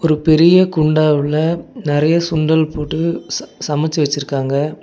ஒரு பெரிய குண்டா உள்ள நெறைய சுண்டல் போட்டு ச சமச்சு வச்சிருக்காங்க.